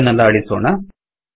ಇದನ್ನೆಲ್ಲ ಅಳಿಸೋಣ